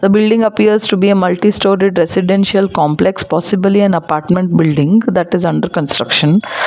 a building appears to be a multi storeyed residential complex possibly an apartment building that is under construction.